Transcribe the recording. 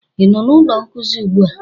ị nọ na ụlọ nkuzi ugbu a?